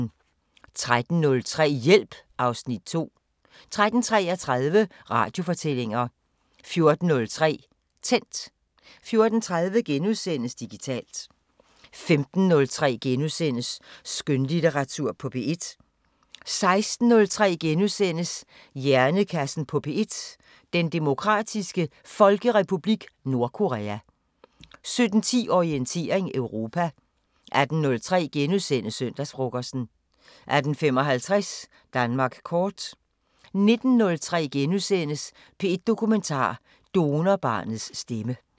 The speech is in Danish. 13:03: Hjælp (Afs. 2) 13:33: Radiofortællinger 14:03: Tændt 14:30: Digitalt * 15:03: Skønlitteratur på P1 * 16:03: Hjernekassen på P1: Den Demokratiske Folkerepublik Nordkorea * 17:10: Orientering Europa 18:03: Søndagsfrokosten * 18:55: Danmark kort 19:03: P1 Dokumentar: Donorbarnets stemme *